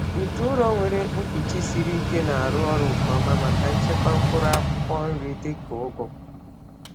Ite ụrọ nwere mkpuchi siri ike na-arụ ọrụ nke ọma maka nchekwa mkpụrụ akwụkwọ nri dịka ugu.